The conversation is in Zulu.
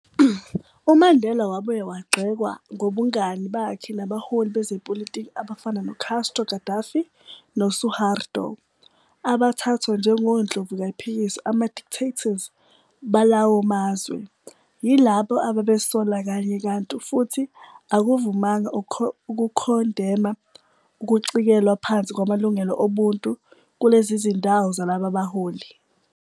UMandela wabuye wagxekwa ngobungani bakhe nabaholi bezepolitiki abafana no-Castro, Gaddafi noSuharto - abathathwa njengondlovu kayiphikiswa ama-dictators balawo mazwe, yilabo ababesola kanye kanti futhi akavumanga ukukhondema ukucikelwa phansi kwamalungelo obuntu kulezi zindawo zalaba baholi.